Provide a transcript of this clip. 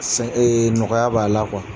Nɔgɔya b'a la